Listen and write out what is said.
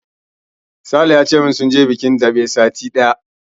Sale ya ce min sun je bikin daɓe satin da ya wuce.